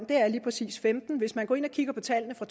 lige præcis er femtende hvis man går ind og kigger på tallene for